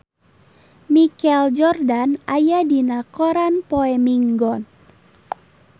Michael Jordan aya dina koran poe Minggon